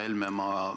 Härra Helme!